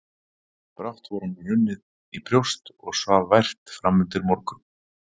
Brátt var honum runnið í brjóst og svaf vært framundir morgun.